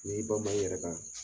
N'i y'i bama i yɛrɛ kan